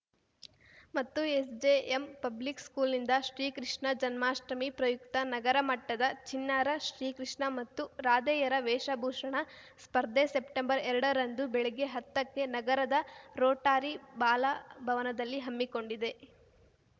ಮತ್ತು SJM public ಸ್ಕೂಲ್‌ನಿಂದ ಶ್ರೀ ಕೃಷ್ಣ ಜನ್ಮಾಷ್ಟಮಿ ಪ್ರಯುಕ್ತ ನಗರ ಮಟ್ಟದ ಚಿಣ್ಣರ ಶ್ರೀ ಕೃಷ್ಣ ಮತ್ತು ರಾಧೆಯರ ವೇಷಭೂಷಣ ಸ್ಪರ್ಧೆ ಸೆಪ್ಟೆಂಬರ್ಎರಡ ರಂದು ಬೆಳಗ್ಗೆ ಹತ್ತಕ್ಕೆ ನಗರದ ರೋಟರಿ ಬಾಲಭವನದಲ್ಲಿ ಹಮ್ಮಿಕೊಂಡಿದೆ